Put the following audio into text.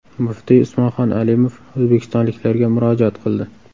Muftiy Usmonxon Alimov o‘zbekistonliklarga murojaat qildi.